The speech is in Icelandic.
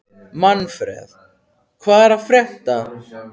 Manfred, hvað er að frétta?